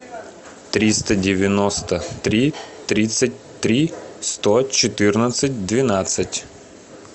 триста девяносто три тридцать три сто четырнадцать двенадцать